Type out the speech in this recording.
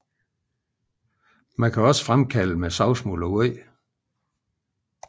Man kan også fremkalde med savsmuld og vand